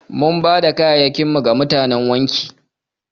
Mun bada kaya'yakin mu ga mutanan wanki.